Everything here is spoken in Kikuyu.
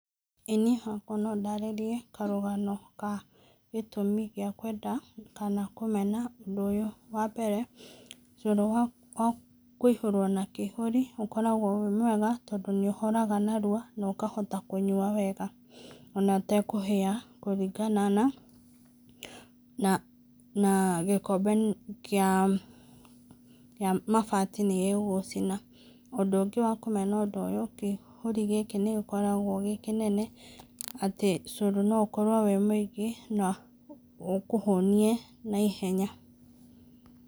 Ĩĩ niĩ hakwa no ndarĩrie karũgano ka gĩtũmi gĩa kwenda kana kũmena ũndũ ũyũ. Wa mbere, cũrũ wa kũihũrwo na kĩihũri ũkoragwo wĩ mwega tondũ nĩ ũhoraga narua na ũkahota kũnyua wega ona ũtekũhĩa kũringana na gĩkombe kĩa mabati nĩgĩgũcina. Ũndũ ũngĩ wa kũmena ũndũ ũyũ kĩihũri gĩkĩ nĩ gĩkoragwo gĩ kĩnene atĩ cũrũ no ũkorwo wĩ mũingĩ na ũkũhũnie na ihenya.